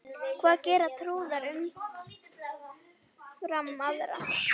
Hvað gera trúaðir umfram aðra?